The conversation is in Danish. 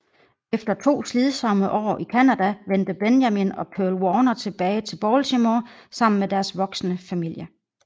Efter to slidsomme år i Canada vendte Benjamin og Pearl Warner tilbage til Baltimore sammen med deres voksende familie